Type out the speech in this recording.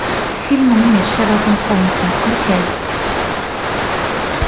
фильмы с шерлоком холмсом включай